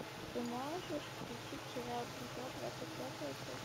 ты можешь включить сериал друзья двадцать пятая часть